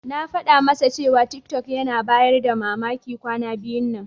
Na faɗa masa cewa tiktok yana bayar da mamaki kwana biyun nan.